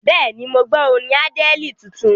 Bẹ́ẹ̀ni, mo gbọ́ orin Àdẹ́ẹ̀lì tuntun.